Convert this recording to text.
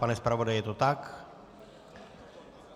Pane zpravodaji, je to tak?